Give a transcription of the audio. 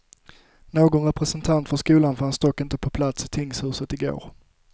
Någon representant för skolan fanns dock inte på plats i tingshuset i går.